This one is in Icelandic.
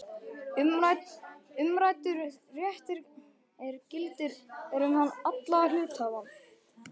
Umræddur réttur gildir um alla hluthafa.